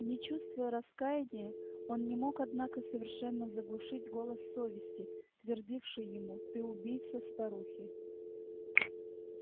не чувствуя раскаяния он не мог однако совершенно заглушить голос совести твердивший ему ты убийца старухи